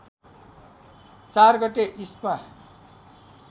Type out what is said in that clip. ४ गते इस्मा